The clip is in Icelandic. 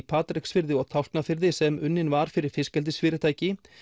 Patreksfirði og Tálknafirði sem unnin var fyrir fiskeldisfyrirtæki